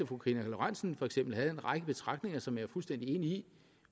fru karina lorentzen for eksempel havde en række betragtninger som jeg er fuldstændig enig i